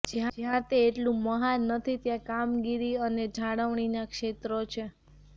જ્યાં તે એટલું મહાન નથી ત્યાં કામગીરી અને જાળવણીના ક્ષેત્રો છે